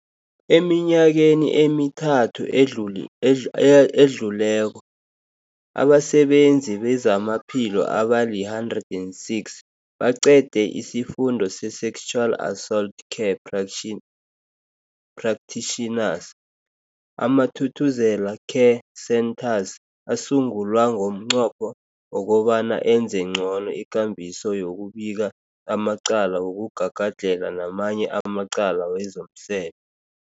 Eminyakeni emithathu edluli edl ededluleko, abasebenzi bezamaphilo abali-106 baqede isiFundo se-Sexual Assault Care Practition Practitioners. AmaThuthuzela Care Centres asungulwa ngomnqopho wokobana enze ngcono ikambiso yokubika amacala wokugagadlhela namanye amacala wezomse